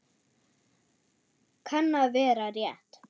Kann að vera rétt.